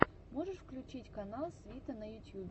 можешь включить канал свита на ютьюбе